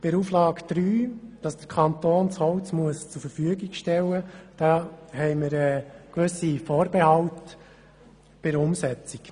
Zu Auflage 3, die verlangt, dass der Kanton das Holz zur Verfügung stellen muss, haben wir gewisse Vorbehalte bei der Umsetzung.